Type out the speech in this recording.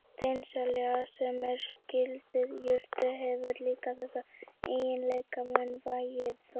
Steinselja, sem er skyld jurt, hefur líka þessa eiginleika, mun vægari þó.